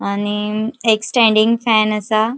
आनी एक standing fan आसा.